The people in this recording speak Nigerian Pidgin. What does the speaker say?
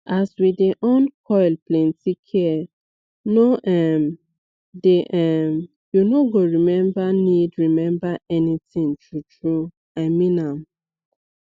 as we dey on coil plenty care no um dey um u no go remember need remember anything true true i mean am